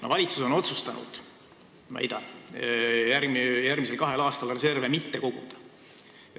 No valitsus on otsustanud, väidan, järgmisel kahel aastal reserve mitte koguda.